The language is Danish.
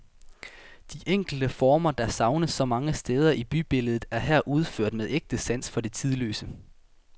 De enkle former, der savnes så mange steder i bybilledet, er her udført med ægte sans for det tidløse.